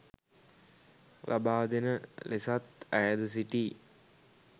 ලබා දෙන ලෙසත් අයැද සිටි